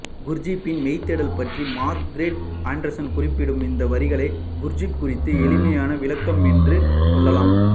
குர்ஜீப்பின் மெய்தேடல் பற்றி Margaret Anderson குறிப்பிடும் இந்த வரிகளை குர்ஜீப் குறித்த எளிமையான விளக்கம் என்று கொள்ளலாம்